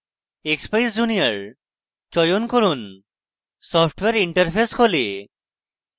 expeyes junior ব্যয়ন করুন software interface খোলে